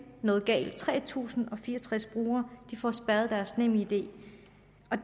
noget galt tre tusind og fire og tres brugere får spærret deres nemid det